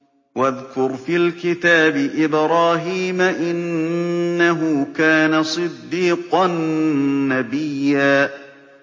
وَاذْكُرْ فِي الْكِتَابِ إِبْرَاهِيمَ ۚ إِنَّهُ كَانَ صِدِّيقًا نَّبِيًّا